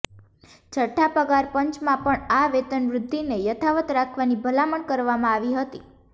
છઠ્ઠા પગાર પંચમાં પણ આ વેતન વૃદ્ધિને યથાવત રાખવાની ભલામણ કરવામાં આવી હતી